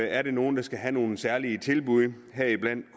er der nogle der skal have nogle særlige tilbud heriblandt